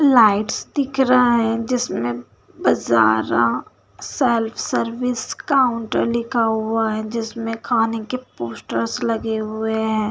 Lights दिख रहा है जिसमें बाज़ार सेल्फ सर्विस काउंटर लिखा हुआ है जिसमें खाने के पोस्टर्स लगे हुए हैं।